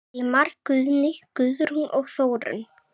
Vilmar, Guðný, Guðrún og Þórunn.